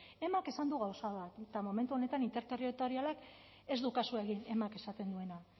emak esan du gauza bat eta momentu honetan interterritorialak ez du kasu egin emak esaten duena